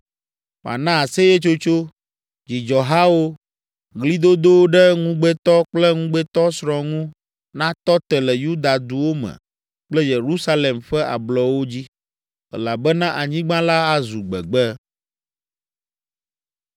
Mana aseyetsotso, dzidzɔhawo, ɣlidodo ɖe ŋugbetɔ kple ŋugbetɔsrɔ̃ ŋu natɔ te le Yuda duwo me kple Yerusalem ƒe ablɔwo dzi, elabena anyigba la azu gbegbe.